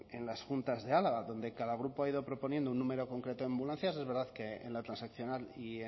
en las juntas de álava donde cada grupo ha ido proponiendo un número concreto de ambulancias es verdad que en la transaccional y